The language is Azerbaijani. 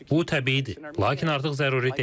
Bu təbiidir, lakin artıq zəruri deyil.